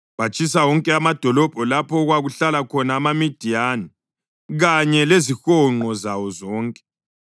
Batshisa wonke amadolobho lapha okwakuhlala khona amaMidiyani, kanye lezihonqo zawo zonke.